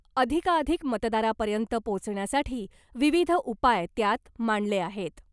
अधिकाधिक मतदारापर्यंत पोचण्यासाठी विविध उपाय त्यात मांडले आहेत .